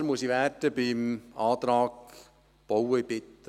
Militanter muss ich beim Antrag Bauen werden: